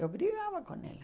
Eu brigava com ela.